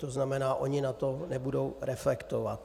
To znamená, oni na to nebudou reflektovat.